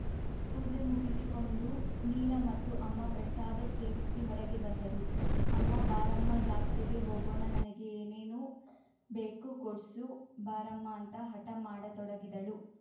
ಪೂಜೆ ಮುಗಿಸಿಕೊಂಡು ನೀಲ ಮತ್ತು ಅಮ್ಮ ಪ್ರಸಾದ ಸೇವಿಸಿ ಹೊರಗೆ ಬಂದರು ಅಮ್ಮ ಬಾರಮ್ಮ ಜಾತ್ರೆಗೆ ಹೋಗೋಣ ನನಗೆ ಏನೇನೊ ಬೇಕು ಕೊಡ್ಸು ಬಾರಮ್ಮ ಅಂತ ಹಠ ಮಾಡತೊಡಗಿದಳು